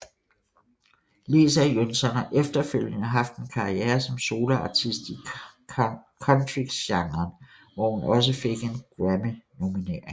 Lecia Jønsson har efterfølgende haft en karriere som soloartist i Country genren hvor hun også fik en grammynominering